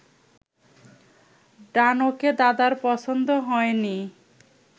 ডানোকে দাদার পছন্দ হয়নি